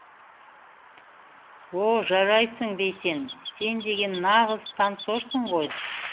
о жарайсың бейсен сен деген нағыз танцорсың ғой